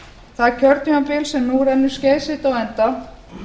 það kjörtímabil sem nú rennur skeið sitt á enda